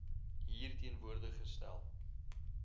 hier teenwoordig gestel